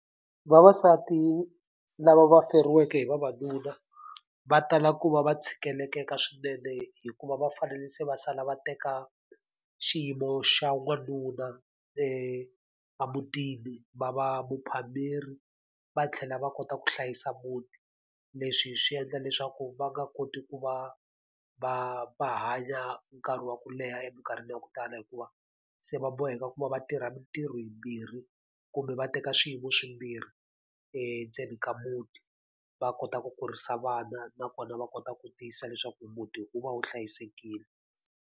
Vavasati lava feriweke hi vavanuna va tala ku va va tshikeleleka swinene hikuva va fanele se va sala va teka xiyimo xa n'wanuna emutini, va va muphameri, va tlhela va kota ku hlayisa muti. Leswi swi endla leswaku va nga koti ku va va va hanya nkarhi wa ku leha eminkarhini ya ku tala hikuva, se va boheka ku va va tirha mitirho yimbirhi, kumbe va teka swiyimo swimbirhi endzeni ka muti. Va kota ku kurisa vana nakona va kota ku tiyisisa leswaku muti wu va wu hlayisekile.